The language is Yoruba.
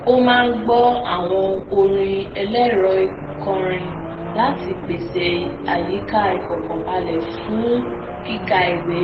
ó máa ń gbọ awọn orin ẹlẹrọikọrin láti pese ayika ifọkanbalẹ lfun kika iwé